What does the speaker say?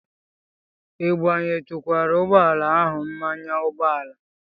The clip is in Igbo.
Ị gbayetukwara ụgbọ ala ahụ mmanụ ụgbọala?